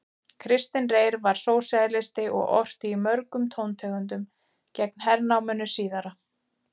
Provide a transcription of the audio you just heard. Kristinn Reyr var sósíalisti og orti í mörgum tóntegundum gegn hernáminu síðara.